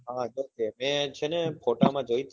હા છે ને મેં છે ને photo માં જોઈ તી